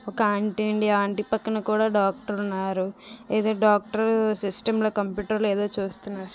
ఒక ఆంటీ అండి ఆంటీ పక్కన కూడా డాక్టరు ఉన్నారు. ఏదో డాక్టరు సిస్టంలో కంప్యూటర్లో ఏదో చూస్తున్నారు.